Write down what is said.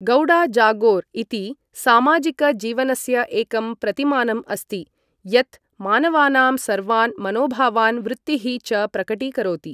गौडा जागोर् इति सामाजिकजीवनस्य एकं प्रतिमानम् अस्ति, यत् मानवानां सर्वान् मनोभावान् वृत्तीः च प्रकटीकरोति।